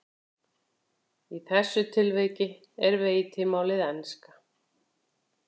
Í þessu tilviki er veitimálið enska.